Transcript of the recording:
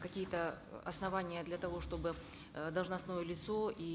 какие то основания для того чтобы э должностное лицо и